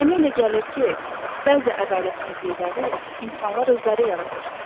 Mənə elə gəlir ki, bəzi ədalətsizlikləri insanlar özləri yaradır.